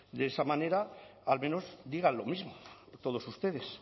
de esa manera al menos digan lo mismo todos ustedes